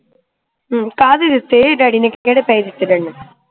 ਕਾਹਦੇ ਦਿਤੇ daddy ਨੇ ਕਿਹੜੇ ਪੈਸੇ ਦਿਤੇ daddy ਨੂੰ